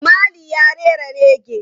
Bob Marley ya rera rege.